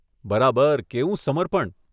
બરાબર કેવું સમર્પણ.